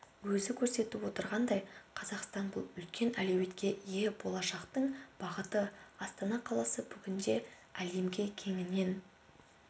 өзі көрсетіп отырғандай қазақстан бұл үлкен әлеуетке ие болашақтың бағыты астана қаласы бүгінде әлемге кеңінен